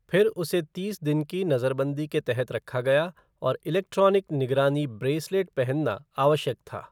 फिर उसे तीस दिन की नजरबंदी के तहत रखा गया और इलेक्ट्रॉनिक निगरानी ब्रेसलेट पहनना आवश्यक था।